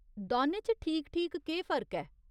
दौनें च ठीक ठीक केह् फर्क ऐ ?